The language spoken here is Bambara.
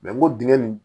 n ko dingɛ nin